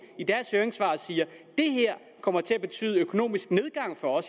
i deres høringssvar siger at det her kommer til at betyde økonomisk nedgang for